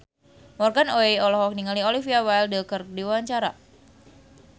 Morgan Oey olohok ningali Olivia Wilde keur diwawancara